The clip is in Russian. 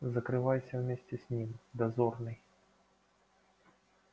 закрывайся вместе с ним дозорный